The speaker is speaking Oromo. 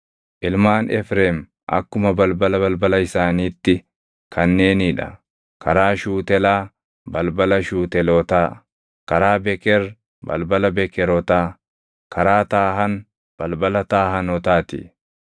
Ilmaan Efreem akkuma balbala balbala isaaniitti kanneenii dha: karaa Shuutelaa, balbala Shuutelootaa; karaa Beker, balbala Bekerotaa; karaa Taahan, balbala Taahanotaa ti.